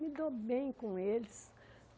Me dou bem com eles.